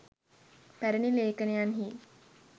පැරැණි ලේඛනයන්හි